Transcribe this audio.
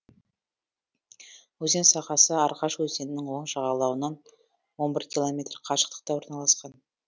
өзен сағасы аргаш өзенінің оң жағалауынан он бір километр қашықтықта орналасқан